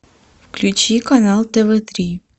включи канал тв три